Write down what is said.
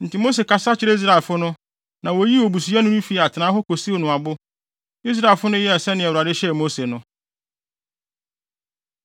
Enti Mose kasa kyerɛɛ Israelfo no, na woyii obusuyɛni no fii atenae hɔ kosiw no abo. Israelfo no yɛɛ sɛnea Awurade hyɛɛ Mose no.